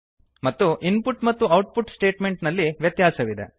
ಮತ್ತು ಇನ್ಪುಟ್ ಮತ್ತು output statement ನಲ್ಲಿ ವ್ಯತ್ಯಾಸವಿದೆ